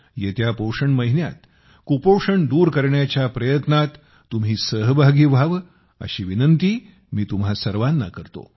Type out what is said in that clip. येत्या पोषण महिन्यात कुपोषण दूर करण्याच्या प्रयत्नात तुम्ही सहभागी व्हावे अशी विनंती मी तुम्हा सर्वांना करतो